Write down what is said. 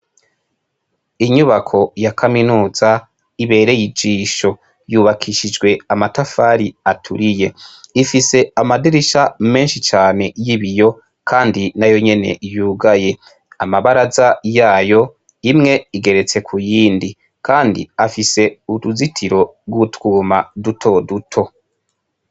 Inyubako ya kaminuza ibereye ijisho yubakishijwe amatafari aturiye ifise amadirisha meshi cane y'ibiyo kandi nayonyene yugaye amabaraza yayo imwe igeretse ku yindi kandi afise uruzitiro tw'utwuma dutoduto.